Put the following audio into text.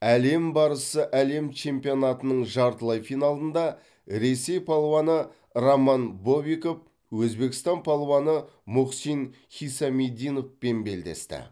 әлем барысы әлем чемпионатының жартылай финалында ресей палуаны роман бобиков өзбекстан палуаны мухсин хисамиддиновпен белдесті